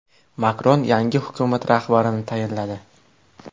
Makron yangi hukumat rahbarini tayinladi.